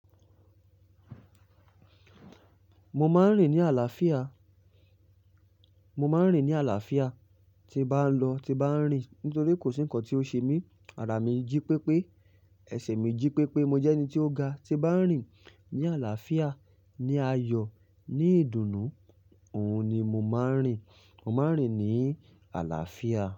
Mo máa ń rìn ní àlàáfíà, mo máa ń rìn ní àlàáfíà, tí bá ń lọ tí bá ń rìn nítorí kò sí nǹkan tí ó ṣe mí. Àrà mi jí pé pé, ẹsẹ̀ mi jí pé pé mo jẹ́ ẹni tí ó ga. Tí bá ń rìn ní àlàáfíà, ní ayọ̀, ní ìdùnnú, òun ni mo máa ń rìn. Mo máa ń rìn ní àlàáfíà.